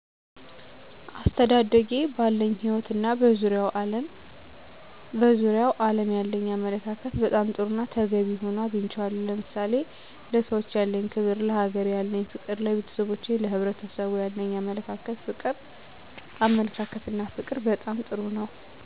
አስተዳደጌ ባለኝ ህይወት እና በዙሪያው ዓለም ያለኝ አመለካከት በጣም ጥሩና ተገቢ ሆኖ አግኝቸዋለሁ። ለምሳሌ፦ ለሰዎች ያለኝ ክብር፣ ለሀገሬ ያለኝ ፍቅር፣ ለቤተሰቦቼና ለሕብረሰቡ ያለኝ አመለካከትና ፍቅር በጣም ጥሩ ነው።